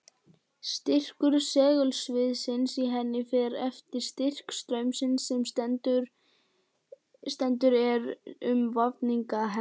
Styrkur segulsviðsins í henni fer eftir styrk straumsins sem sendur er um vafninga hennar.